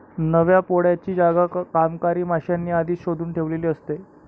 नव्या पोळ्याची जागा कामकरी माश्यांनी आधीच शोधून ठेवलेली असते.